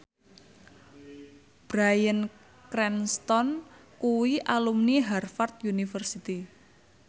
Bryan Cranston kuwi alumni Harvard university